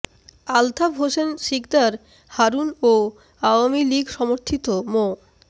আলতাফ হোসেন সিকদার হারুন ও আওয়ামী লীগ সমর্থিত মো